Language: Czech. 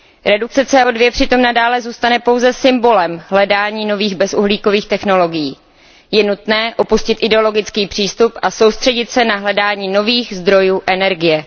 Redukce CO 2 přitom nadále zůstane pouze symbolem hledání nových technologií bez uhlíku. Je nutné opustit ideologický přístup a soustředit se na hledání nových zdrojů energie.